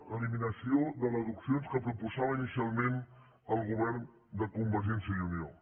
l’eliminació de deduccions que proposava inicialment el govern de convergència i unió